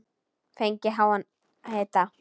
Fengið háan hita.